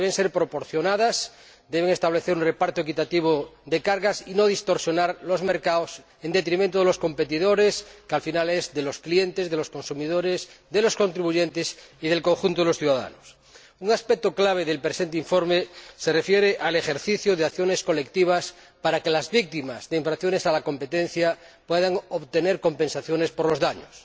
deben ser proporcionadas, deben establecer un reparto equitativo de cargas y no distorsionar los mercados en detrimento de los competidores, que al final lo es de los clientes, de los consumidores, de los contribuyentes y del conjunto de los ciudadanos. Un aspecto clave del presente informe se refiere al ejercicio de acciones colectivas para que las víctimas de infracciones a la competencia puedan obtener compensaciones por los daños.